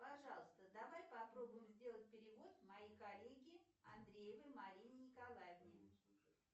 пожалуйста давай попробуем сделать перевод моей коллеге андреевой марине николаевне